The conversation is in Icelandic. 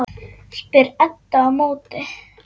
spyr Edda á móti.